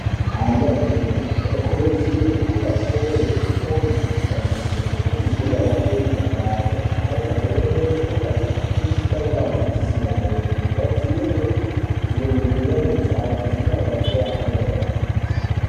Ana adoridori anokurudzirwe kunge echitengerwe zvitoyi zvekutambisa ngekuti zvinoape mudakaro ari pamweni uye achifundiswa ngeadzidzisi awo kugadzire zviro ngenyara dzawo zvinoabatsire kukura akangwarira.